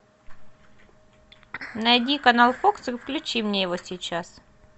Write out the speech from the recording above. найди канал фокс и включи мне его сейчас